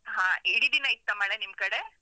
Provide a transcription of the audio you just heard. ಹ ಇಡೀ ದಿನ ಇತ್ತ ಮಳೆ, ನಿಮ್ಕಡೆ?